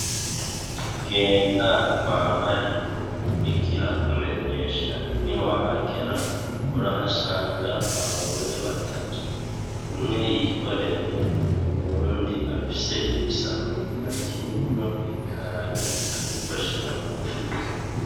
Genda kwa Mariko ikihakumenyesha niwahagera urahasanga abagore batatu, umwe yikoreye uwundi afise igisafuriya kirimwo ibiharage ariko ashira mu mufuko.